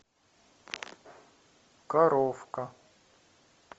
коровка